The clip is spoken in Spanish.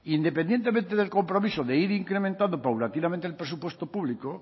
independientemente del compromiso de ir incrementando paulatinamente el presupuesto público